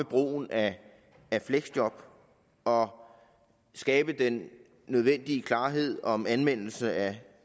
brug af fleksjob og skabe den nødvendige klarhed om anvendelse af